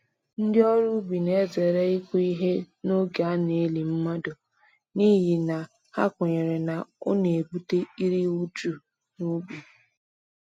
Ndị ọrụ ubi na-ezere ịkụ ihe n’oge a na-eli mmadụ, n’ihi na ha kwenyere na ọ na-ebute iri uju n'ubi.